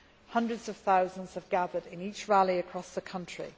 change. Hundreds of thousands have gathered in each rally across the country.